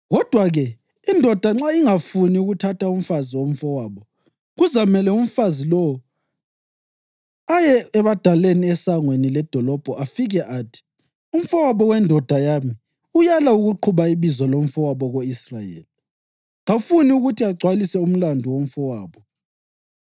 Kodwa-ke, indoda nxa ingafuni ukuthatha umfazi womfowabo, kuzamele umfazi lowo aye ebadaleni esangweni ledolobho afike athi, ‘Umfowabo wendoda yami uyala ukuqhuba ibizo lomfowabo ko-Israyeli. Kafuni ukuthi agcwalise umlandu womfowabo.’